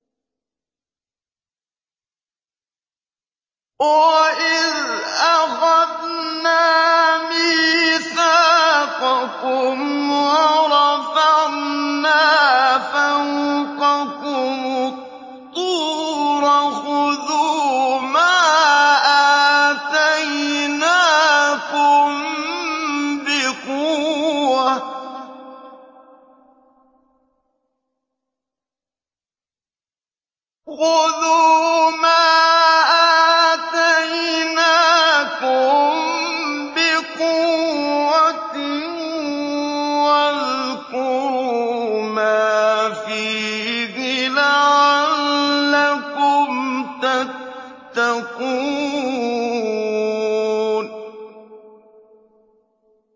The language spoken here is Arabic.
وَإِذْ أَخَذْنَا مِيثَاقَكُمْ وَرَفَعْنَا فَوْقَكُمُ الطُّورَ خُذُوا مَا آتَيْنَاكُم بِقُوَّةٍ وَاذْكُرُوا مَا فِيهِ لَعَلَّكُمْ تَتَّقُونَ